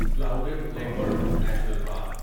clouded leopard national park